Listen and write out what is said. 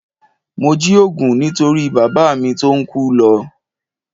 Mo jí òògùn nítorí bàbá mi tó ń kú lọ